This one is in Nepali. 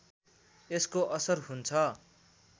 यसको असर हुन्छ